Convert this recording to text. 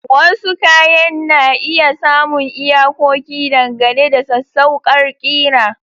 Wasu kayan na iya samun iyakoki dangane da sassauƙar ƙira.